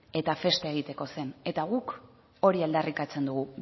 eta festa egiteko zen eta guk hori aldarrikatzen dugu